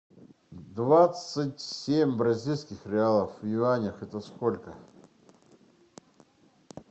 двадцать семь бразильских реалов в юанях это сколько